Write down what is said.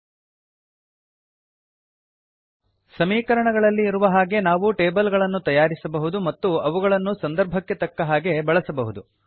ಸಮೀಕರಣ ಈಕ್ವೇಷನ್ ಗಳಲ್ಲಿ ಇರುವ ಹಾಗೆ ನಾವು ಟೇಬಲ್ ಗಳನ್ನು ತಯಾರಿಸಬಹುದು ಮತ್ತು ಅವುಗಳನ್ನು ಸಂದರ್ಭಕ್ಕೆ ತಕ್ಕ ಹಾಗೆ ಬಳಸಬಹುದು